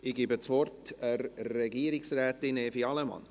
Ich gebe das Wort Frau Regierungsrätin Evi Allemann.